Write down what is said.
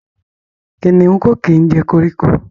kìnìún Ko kí jẹ koríko.